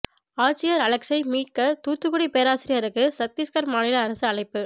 ஆட்சியர் அலெக்ஸை மீட்க தூத்துக்குடி பேராசிரியருக்கு சத்தீஸ்கர் மாநில அரசு அழைப்பு